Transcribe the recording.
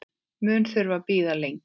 Mun þurfa að bíða lengi.